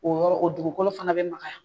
O yɔrɔ dugukolo fana bɛ makaya.